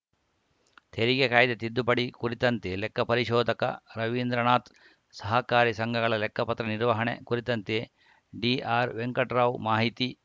ತೆರಿಗೆ ಕಾಯ್ದೆ ತಿದ್ದುಪಡಿ ಕುರಿತಂತೆ ಲೆಕ್ಕ ಪರಿಶೋಧಕ ರವೀಂದ್ರನಾಥ್‌ ಸಹಕಾರಿ ಸಂಘಗಳ ಲೆಕ್ಕಪತ್ರ ನಿರ್ವಹಣೆ ಕುರಿತಂತೆ ಡಿಆರ್‌ವೆಂಕಟರಾವ್‌ ಮಾಹಿತಿ